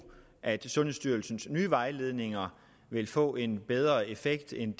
at sundhedsstyrelsens nye vejledninger vil få en bedre effekt end